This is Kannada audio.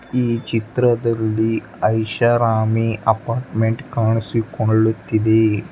ಈ ಚಿತ್ರದಲ್ಲಿ ಐಷಾರಾಮಿ ಅಪಾರ್ಟ್ಮೆಂಟ್ ಕಾಣಸಿಕೊಳ್ಳುತ್ತಿದೆ.